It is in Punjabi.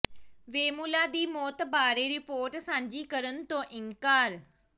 ਵੇਮੁਲਾ ਦੀ ਮੌਤ ਬਾਰੇ ਰਿਪੋਰਟ ਸਾਂਝੀ ਕਰਨ ਤੋਂ ਇਨਕਾਰ